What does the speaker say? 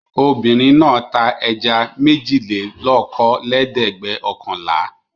Obìnrin náà ta ẹja méjìlélókòólẹ́ẹ̀dẹ́gbẹ̀ọ̀kànlá.